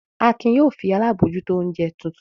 Akin yóò fi alábòójútó oúnjẹ tuntun!